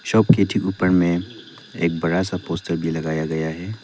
Shop के ठीक ऊपर में एक बड़ा सा पोस्टर भी लगाया गया है।